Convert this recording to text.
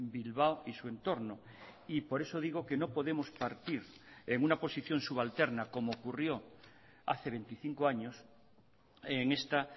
bilbao y su entorno y por eso digo que no podemos partir en una posición subalterna como ocurrió hace veinticinco años en esta